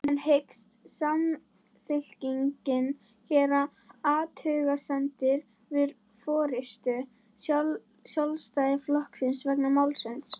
En hyggst Samfylkingin gera athugasemdir við forystu Sjálfstæðisflokksins vegna málsins?